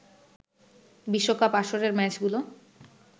বিশ্বকাপ আসরের ম্যাচগুলো